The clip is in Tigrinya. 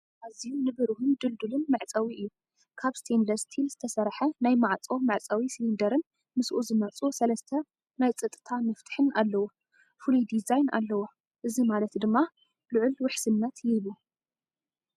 ኣዝዩ ንብሩህን ድልዱልን መዕጸዊ እዩ! ካብ ስቴንለስ ስቲል (ብራስ) ዝተሰርሐ ናይ ማዕጾ መዕጸዊ ሲሊንደርን ምስኡ ዝመጹ ሰለስተ ናይ ጸጥታ መፍትሕን ኣለዎ። ፍሉይ ዲዛይን ኣለዎም፡ እዚ ማለት ድማ ልዑል ውሕስነት ይህቡ።